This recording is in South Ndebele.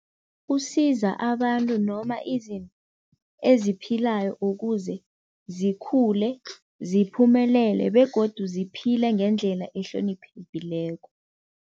Kusiza abantu noma izinto eziphilayo ukuze zikhule, ziphumelele begodu ziphile ngendlela ehloniphekileko.